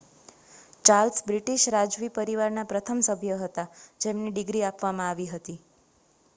Charles British રાજવી પરિવારના પ્રથમ સભ્ય હતા જેમને ડિગ્રી આપવામાં આવી હતી